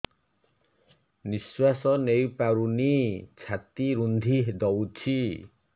ନିଶ୍ୱାସ ନେଇପାରୁନି ଛାତି ରୁନ୍ଧି ଦଉଛି